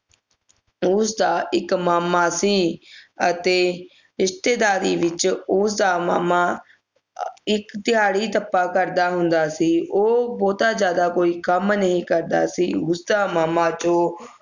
ਉਸ ਦਾ ਇਕ ਮਾਮਾ ਸੀ ਅਤੇ ਰਿਸ਼ਤੇਦਾਰੀ ਵਿਚ ਉਸ ਦਾ ਮਾਮਾ ਅਹ ਇਕ ਦਿਹਾੜੀ ਟੱਪਾ ਕਰਦਾ ਹੁੰਦਾ ਸੀ ਉਹ ਬਹੁਤਾ ਜਿਆਦਾ ਕੋਈ ਕੰਮ ਨਹੀਂ ਕਰਦਾ ਸੀ ਉਸਦਾ ਮਾਮਾ ਜੋ